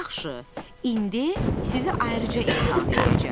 Yaxşı, indi sizi ayrıca imtahan eləyəcəm.